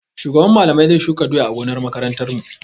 Shugaban Mallamai zai shuka doya a gonar makarantarmu.